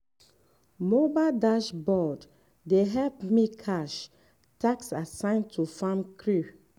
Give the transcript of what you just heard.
mobile dashboard dey help me cash task assign to farm crew